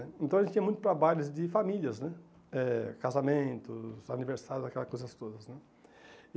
Então, a gente tinha muito trabalho de famílias né, eh casamentos, aniversários, aquelas coisas todas né.